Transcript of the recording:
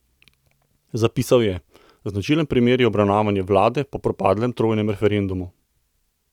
Zapisal je: "Značilen primer je obravnavanje vlade po propadlem trojnem referendumu.